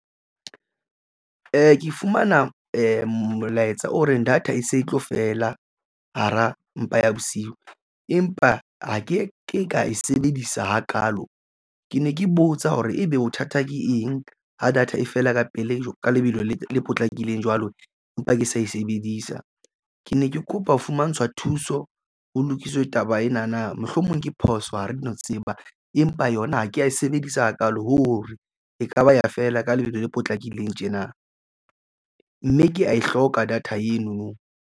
Ke fumana molaetsa o reng data e se e tlo fela hara mpa ya bosiu, empa ha ke ke ka e sebedisa hakaalo. Ke ne ke botsa hore ebe bothata ke eng ho data e fela ka pele ka lebelo le potlakileng jwalo empa ke sa e sebedisa, ke ne ke kopa ho fumantshwa thuso. Ho lokiswe taba ena na mohlomong ke phoso ha re no tseba, empa yona ha ke ya e sebedisa hakaalo hore ekaba ya fela ka lebelo le potlakileng tjena, mme ke ya e hloka data enono.